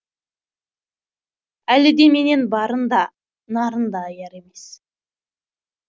әлі де менен барын да нарын да аяр емес